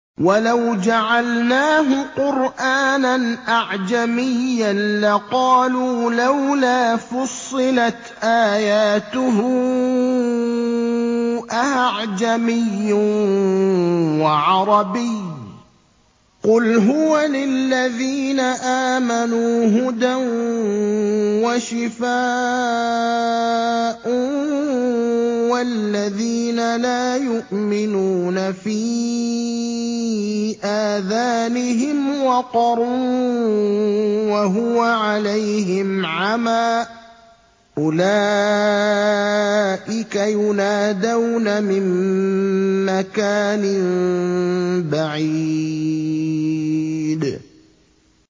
وَلَوْ جَعَلْنَاهُ قُرْآنًا أَعْجَمِيًّا لَّقَالُوا لَوْلَا فُصِّلَتْ آيَاتُهُ ۖ أَأَعْجَمِيٌّ وَعَرَبِيٌّ ۗ قُلْ هُوَ لِلَّذِينَ آمَنُوا هُدًى وَشِفَاءٌ ۖ وَالَّذِينَ لَا يُؤْمِنُونَ فِي آذَانِهِمْ وَقْرٌ وَهُوَ عَلَيْهِمْ عَمًى ۚ أُولَٰئِكَ يُنَادَوْنَ مِن مَّكَانٍ بَعِيدٍ